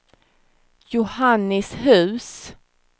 Johannishus